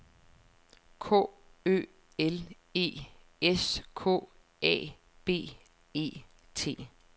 K Ø L E S K A B E T